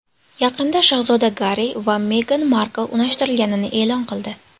Yaqinda shahzoda Garri va Megan Markl unashtirilganini e’lon qildi.